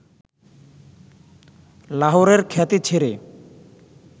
লাহোরের খ্যাতি ছেড়ে